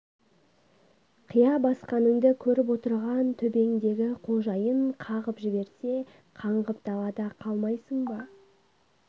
қия басқаныңды көріп отырған төбеңдегі қожайын қағып жіберсе қаңғып далада қалмайсың ба